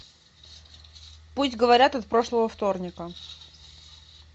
пусть говорят от прошлого вторника